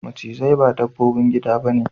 Macizai ba dabbobin gida ba ne.